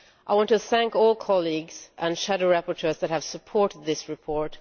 I want to thank all colleagues and shadow rapporteurs that have supported this report.